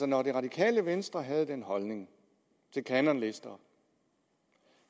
når det radikale venstre havde den holdning til kanonlister